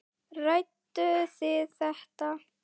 Ræddu þið þetta?